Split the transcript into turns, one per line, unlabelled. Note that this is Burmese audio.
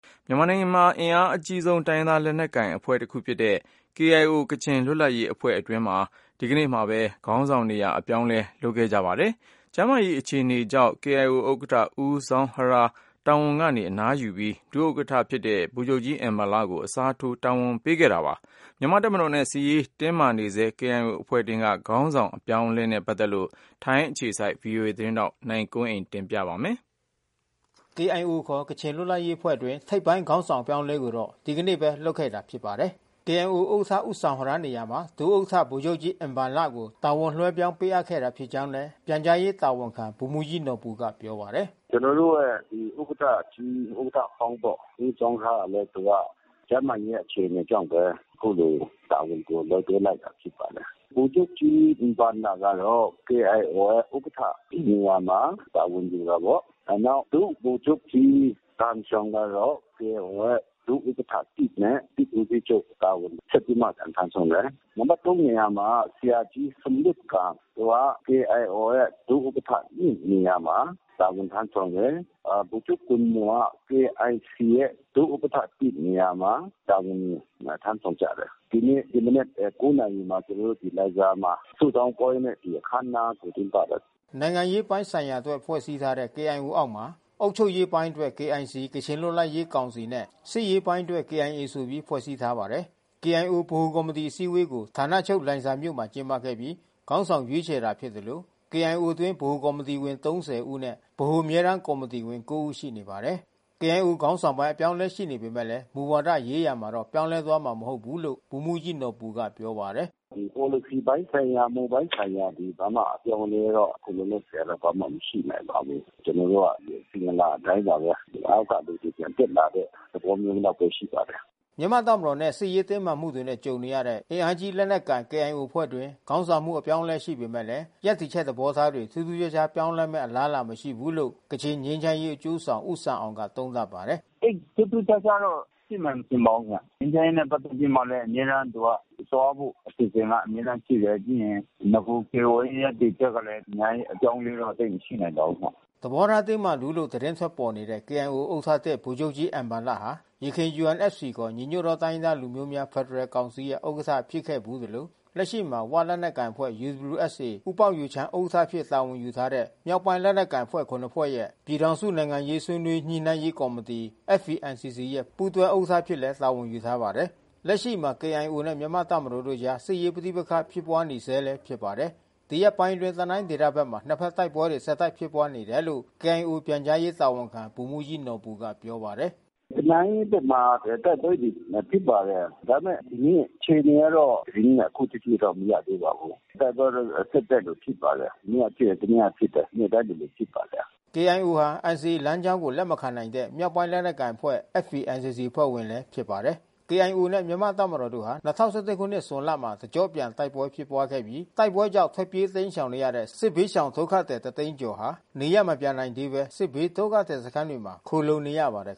မြန်မာနိုင်ငံက အင်အားကြီး တိုင်းရင်းသား လက်နက်ကိုင် အဖွဲ့တခုဖြစ်တဲ့ KIO ကချင်လွတ်လပ်ရေးအဖွဲ့အတွင်း ဒီကနေ့ပဲ ခေါင်းဆောင်နေရာ အပြောင်းအလဲ လုပ်ခဲ့ကြပါတယ်။ ကျန်းမာရေးအခြေအနေကြောင့်KIO ဥက္ကဌဦးဇောင်းဟရား တာဝန်ကနေ အနားယူပြီး ဒုဥက္ကဋ္ဌ ဗိုလ်ချုပ်ကြီးအင်ဘန်လ ကို အစားထိုးတာဝန်ပေးခဲ့တာပါ။ မြန်မာ့တပ်မတော်နဲ့ စစ်ရေးတင်းမာနေဆဲ KIO အဖွဲ့တွင်းက ခေါင်းဆောင်းပိုင်း အပြောင်းအလဲနဲ့ ပတ်သက်လို့ ဗွီအိုအေမြန်မာပိုင်း ထိုင်းအခြေစိုက်သတင်းထောက် နိုင်ကွန်းအိန် က အပြည့်အစုံ ပြောပြပေးမှာ ဖြ
စ်ပါတယ်။ KIO ကချင်လွတ်လပ်ရေးအဖွဲ့အတွင်း ထိပ်ပိုင်းခေါင်းဆောင် အပြောင်းအလဲကိုတော့ ဒီကနေ့ပဲ လုပ်ခဲ့တာ ဖြစ်ပါ တယ်။ KIO ဥက္ကဋ္ဌ ဦးဇောင်ဟရား နေရာမှာ ဒုဥက္ကဋ္ဌ ဗိုလ်ချုပ်ကြီး အင်ဘန်လကို တာဝန်လွှဲပြောင်းပေးအပ်ခဲ့တာ ဖြစ်ကြောင်းလည်း ပြန်ကြားရေးတာဝန်ခံ ဗိုလ်မှူးကြီးနော်ဘူ ကပြောပါတယ်
။ "ကျွန်တော်တို့ရဲ့ဥက္ကဌကြီး ဥက္ကဌဟောင်း ဦးဇောင်းဟရားကလဲသူက ကျန်းမာရေး အခြေအနေကြောင့်ဘဲ အခုလိုတာဝန် ကို လက်လွှဲလိုက်တာဘဲဖြစ်ပါတယ်။ ဗိုလ်ချုပ်ကြီး အင်ဘန်လ ကတော့ KIO ဥက္ကဌ နေရာမှာ တာဝန်ယူပါတယ်။ နောက် ဒုဗိုလ်ချုပ်ကြီး ဂမ်ရှောင် ကတော့ KIO ရဲ့ ဒုဥက္ကဌ နဲ့ စစ်ဦးစီးချုပ် တာဝန်ဆက်ပြီးမှပြန် ထမ်းဆောင်တယ်။ နံပတ် နေရာ မှာ ဆရာကြီးဆွမ်လွတ်ဂမ် သူက KIOရဲ့ ဒုဥက္ကဌ နေရာမှာ တာဝန်ထမ်းဆောင်တယ်။ ဗိုလ်ချုပ်ဂွမ်မော်က KIC ရဲ့ ဒုဥက္ကဌ နေရာ မှာ တာဝန်ယူထမ်းဆောင်ကြတယ်။ ဒီနေ့ ဒီမနက် နာရီမှာ ကျွန်တော်တို့ဒီလိုင်ဇာမှာ ဆုတောင်းပွဲနဲ့ ဒီအခန်းအနားကိုကျင်းပတယ်။
" နိုင်ငံရေးပိုင်းဆိုင်ရာအတွက် ဖွဲ့စည်းထားတဲ့ KIO အောက်မှာ အုပ်ချုပ်ရေးပိုင်းအတွက် KIC ကချင်လွတ်လပ်ရေးကောင်စီ နဲ့စစ်ရေးပိုင်းအတွက် KIA ဆိုပြီး ဖွဲ့စည်းထားပါတယ်။ KIO ဗဟိုကော်မတီအစည်းအဝေးကို ဌာနချုပ်လိုင်ဇာမြို့မှာ ကျင်းပပြီးခေါင်းဆောင်ရွေးချယ် တာဖြစ်သလို KIOအတွင်း ဗဟိုကော်မတီဝင် ၃၀ ဦးနဲ့ ဗဟိုအမြဲ တမ်းကော်မတီဝင် ကိုးဦး ရှိနေပါတယ်။ KIO ခေါင်းဆောင်းပိုင်း အပြောင်းအလဲ ရှိပေမယ့် မူဝါဒရေးရာမှာတော့ ပြောင်းလဲသွားမှာ မဟုတ်ဘူးလို့ လည်း ဗိုလ်မှူးကြီးနော်ဘူ ကပြောပါတယ်။ "
ပေါ်လစီပိုင်းဆိုင်ရာ မူပိုင်းဆိုင်ရာတွေဘာမှ အပြောင်းမလဲတော့ ခုလောလောဆယ် ဘာမှမရှိနိုင်ပါဘူး။ ကျွန်တော်တို့က အစဉ်အလာအတိုင်းပါဘဲ။ အောက်က လူတွေပြန်တက်လာ တဲ့ သဘောမျိုးလောက် ဘဲရှိပါတယ်။"
မြန်မာ့တပ်မတော်နဲ့ စစ်ရေးတင်းမာမှုတွေ ကြုံနေရတဲ့ အင်အားကြီး လက်နက်ကိုင် KIO အဖွဲ့တွင်း ခေါင်းဆောင်မှု အပြောင်းအလဲ ရှိခဲ့ပေမဲ့ ရပ်တည်ချက် သဘောထားတွေ ထူးထူးခြားခြား ပြောင်းလဲမယ့် အလားအလာတော့ မရှိဘူးလို့ ကချင်ငြိမ်းချမ်းရေး အကျိုးဆောင် ဦးဆန်အောင်ကလည်း သုံးသပ်ပါတယ်။ "သိပ်ထူးထူးခြားခြားတော့ရှိမယ်မထင်ပါဘူးခင်ဗျား။ ငြိမ်းချမ်းရေး နဲ့ပက်သက်ပြီး အမြဲတမ်း သူက သွားဖို့အစ
ီအစဉ် အမြဲ တမ်း ရှိတယ်။ ပြီးရင်နဂို KIO ရဲ့ရပ်တည်ချက်ကလဲ အများကြီးပပြောင်းအလဲတော့သိပ်မရှိနိုင်ပါဘူးခင်ဗျ
။" သဘောထားတင်းမာသူလို့ သတင်းထွက်ပေါ်နေတဲ့ KIOဥက္ကဌသစ်ဗိုလ်ချုပ်ကြီး အင်ဘန်လဟာ ယခင် UNFCခေါ် ညီညွတ်သောတိုင်းရင်းသားများ ဖက်ဒရယ်ကောင်စီရဲ့ဥက္ကဋ္ဌ ဖြစ်ခဲ့ဘူးသလို လက်ရှိမှာ ‘ဝ’လက်နက်ကိုင်အဖွဲ့ ဦးပေါက်ယူချမ်း ဥက္ကဋ္ဌအဖြစ် တာဝန်ယူထားတဲ့ မြောက်ပိုင်းလက်နက်ကိုင်ခုနစ်ဖွဲ့ရဲ့ ပြည်ထောင်စု နိုင်ငံရေးဆွေး နွေးညှိနှိုင်းရေးကော်မတီ ပူးတွဲဥက္ကဋ္ဌ အဖြစ်လည်းတာဝန်ယူထားပါတယ်။ လက်ရှိမှာလည်း KIOနဲ့မြန်မာ့တပ်မတော်တို့အကြားမှာ စစ်ရေးပဋိပက္ခဖြစ်ပွါးနေ ဆဲလဲဖြစ်ပါတယ်။ ဒီရက်ပိုင်းအတွင်း တနိုင်းဒေသ ဘက်မှာနှစ်ဖက်တိုက်ပွဲတွေ ဆက်တိုက်ဖြစ်ပွါးနေတယ်လို့ KIOပြန်ကြားရေးတာဝန်ခံ ဗိုလ်မှူးကြီးနော်ဘူက ပြောပါတယ်။ " တန
ိုင်းဘက်မှာတိုက်ပွဲတွေဖြစ်ပါတယ်။ ဒါပေမဲ့ ဒီနေ့အခြေအနေကတော့ သတင်းကအခုထက်ထိ မရသေးပါဘူး။ တိုက်ပွဲ တော့ဆက်တိုက်လိုလိုဖြစ်ပါတယ်။ မနေ့ကဖြစ်တယ် တနေ့ကဖြစ်တယ်။ နေ့တိုင်းလိုလိုဖြစ်ပါတ
ယ်။" KIOဟာNCAလမ်းကြောင်းကို လက်မခံနိုင်တဲ့မြောက်ပိုင်းလက်နက်ကိုင်အဖွဲ့ FPNCCအဖွဲ့ဝင်လည်း ဖြစ်ပါတယ်။ KIOနဲ့မြန်မာတပ်မတော်တို့ဟာ ၂၀၁၁ခုနှစ်ဇွန်လမှာတကျော့ပြန်တိုက်ပွဲဖြစ်ပွါးခဲ့ပြီး တိုက်ပွဲကြောင့်ထွက်ပြေးတိမ်း ရှောင်နေရတဲ့ စစ်ဘေးရှောင်ဒုက္ခသည်တသိန်းကျော်ဟာ နေရပ်မပြန်နိုင်သေးဘဲ စစ်ဘေးဒုက္ခသည်စခန်းမှာခိုလှုံ နေရ ပါတယ်